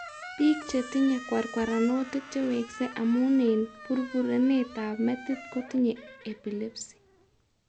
Biik chetinye kwarkwaranotik chewekse amun eng' burburenet ab metit kotinye epilepsy